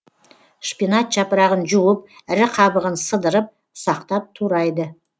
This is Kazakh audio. шпинат жапырағын жуып ірі қабығын сыдырып ұсақтап турайды